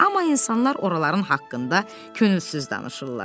Amma insanlar oraların haqqında könülsüz danışırlar.